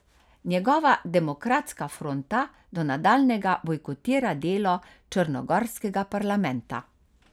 Njegova Demokratska fronta do nadaljnjega bojkotira delo črnogorskega parlamenta.